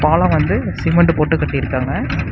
பாலம் வந்து சிமெண்ட் போட்டு கட்டியிருக்காங்க.